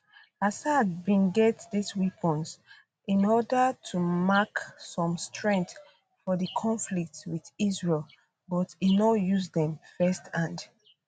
assad bin get dis weapons in order to mark some strength for di conflict wit israel but e no use dem first hand